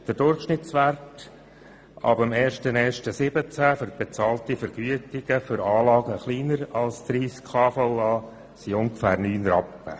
Ab 1. 1. 2017 beträgt der Durchschnittswert der Vergütungen für Anlagen, die kleiner sind als 30 kVA, ungefähr neun Rappen.